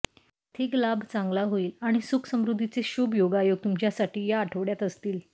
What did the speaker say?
आर्थिक लाभ चांगला होईल आणि सुख समृद्धीचे शुभ योगायोग तुमच्यासाठी या आठवड्यात असतील